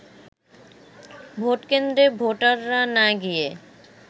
ভোটকেন্দ্রে ভোটাররা না গিয়ে